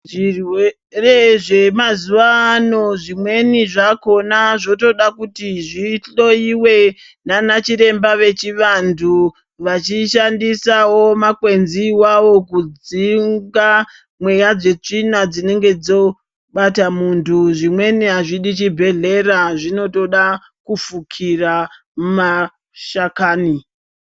Zvirwere zvemazuwa ano zvimweni zvakhona zvotoda kuti zvihloyiwe ndiana chiremba vechivantu vachishandisawo makwenzi wawo kudzinga mweya dzetsvina dzinenge dzobata muntu. Zvimweni azvidi chibhedhlera zvinotoda kufukira mashakani